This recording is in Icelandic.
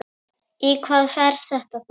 Í hvað fer þetta þá?